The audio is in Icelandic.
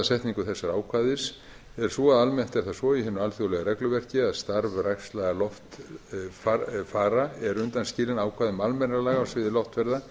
setningu þessa ákvæðis er sú að almennt er það svo í hinu alþjóðlega regluverki að starfræksla loftfara er undanskilin ákvæðum almennra laga á sviði loftferða